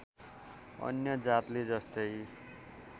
अन्य जातले जस्तै